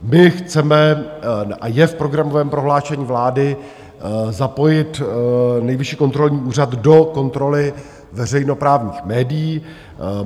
My chceme, a je v programovém prohlášení vlády, zapojit Nejvyšší kontrolní úřad do kontroly veřejnoprávních médií.